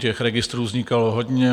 Těch registrů vznikalo hodně.